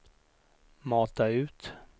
mata ut